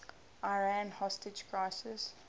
iran hostage crisis